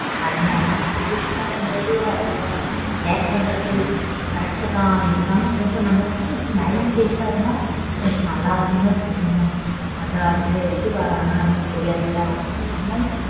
அது என்னமோ அவங்க situation ங்கும் போது அவங்க react பண்றது correct தான். இருந்தாலும் நமக்கு கொஞ்சம் நமக்கும் கொஞ்சம் smiling face ஆ இருந்தா கொஞ்சம் நல்லா இருக்கும்னு தான் தோணும். அது அவங்க எப்படி வராங்கன்னு நமக்கு தெரியாதுல